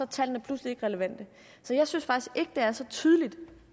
tallene pludselig ikke relevante så jeg synes faktisk ikke det er så tydeligt